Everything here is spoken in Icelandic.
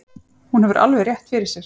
Hún hefur alveg rétt fyrir sér.